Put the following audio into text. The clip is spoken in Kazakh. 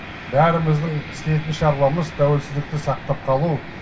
бәріміздің істейтін шаруамыз тәуелсіздікті сақтап қалу